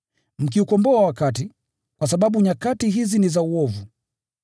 mkiukomboa wakati, kwa sababu nyakati hizi ni za uovu.